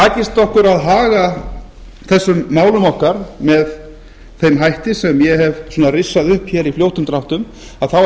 takist okkur að haga þessum málum okkar með þeim hætti sem ég hef svona rissað upp hér í fljótum dráttum þá hef ég